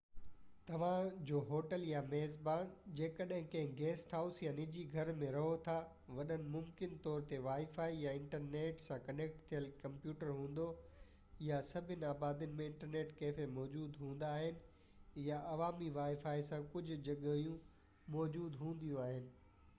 توهان جو هوٽل يا ميزبان جيڪڏهن ڪنهن گيسٽ هائوس يا نجي گهر ۾ رهو ٿاوٽ ممڪن طور تي وائي فائي يا انٽرنيٽ سان ڪنيڪٽ ٿيل ڪمپيوٽر هوندو، ۽ سڀني آبادين ۾ انٽرنيٽ ڪيفي موجود هوندا آهن يا عوامي وائي فائي سان ڪجهه جڳهيون موجود هونديون آهن